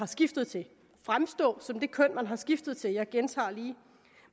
skiftet til fremstå som det køn man er skiftet til jeg gentager lige